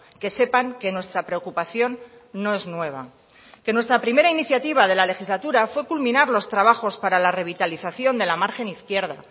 que sepan que nuestra preocupación no es nueva que nuestra primera iniciativa de la legislatura fue culminar los trabajos para la revitalización de la margen izquierda